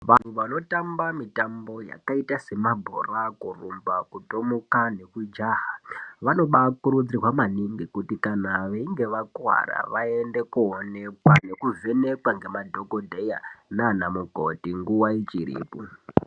Vantu vanotamba mitambo yakaita semabhora, kurumba, kutomuka nekujaha, vanobakurudzirwa maningi kuti kana veinge vakuwara vaende koonekwa nekuvhenekwa ngemadhogodheya nanamukoti nguva ichiripo.